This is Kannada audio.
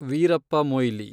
ವೀರಪ್ಪ ಮೊಯ್ಲಿ